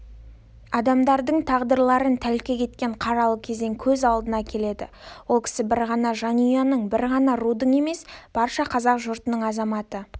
адамдардың тағдырларын тәлкек еткен қаралы кезең көз алдына келеді ол кісі бір ғана жанұяның бір ғана рудың емес барша қазақ жұртының азаматы